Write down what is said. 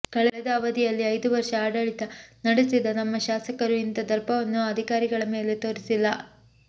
ಕಳೆದ ಅವಧಿಯಲ್ಲಿ ಐದು ವರ್ಷ ಆಡಳಿತ ನಡೆಸಿದ ನಮ್ಮ ಶಾಸಕರು ಇಂಥ ದರ್ಪವನ್ನು ಅಧಿಕಾರಿಗಳ ಮೇಲೆ ತೋರಿಸಿಲ್ಲ